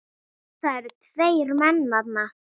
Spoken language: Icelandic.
Það eru tveir menn þarna